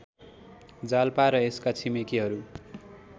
जालपा र यसका छिमेकीहरू